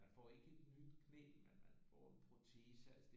Man får ikke et nyt knæ men man får en protese